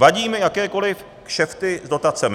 Vadí mi jakékoli kšefty s dotacemi.